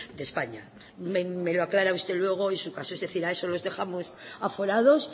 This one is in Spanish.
de españa me lo aclara usted luego en su caso es decir a esos los dejamos aforados